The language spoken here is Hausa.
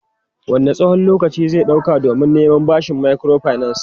Wanne tsawon lokaci zai ɗauka don neman bashi a bankin microfinance?